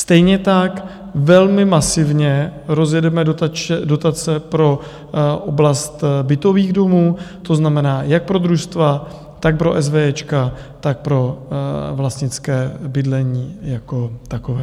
Stejně tak velmi masivně rozjedeme dotace pro oblast bytových domů, to znamená, jak pro družstva, tak pro esvéjéčka, tak pro vlastnické bydlení jako takové.